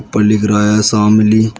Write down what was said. ऊपर लिख रहा है शामली।